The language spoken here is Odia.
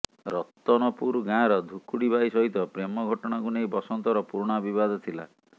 ରତନପୁର ଗାଁର ଧୁକୁଡି ବାଇ ସହିତ ପ୍ରେମ ଘଟଣାକୁ ନେଇ ବସନ୍ତର ପୁରୁଣା ବିବାଦ ଥିଲା